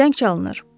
Zəng çalınır.